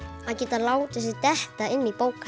að geta látið sig detta inn í